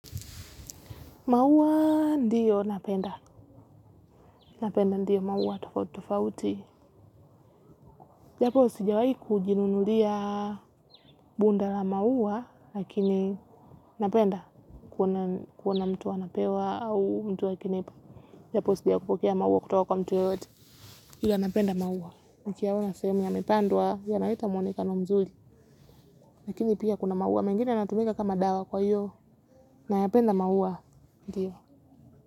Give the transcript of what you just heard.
Maua ndiyo napenda. Napenda ndiyo maua tofauti tofauti. Japo sijawahi kujinunulia bunda la maua, lakini napenda. Kuona mtu anapewa au mtu akinipa. Japo sijawahi kupokea maua kutoka kwa mtu yeyote. Ila napenda maua. Nakiyaona sehemu yamepandwa, yanaleta mwonekano mzuri. Lakini pia kuna maua. Mengine yanatumika kama dawa kwa hiyo. Nayapenda maua ndiyo.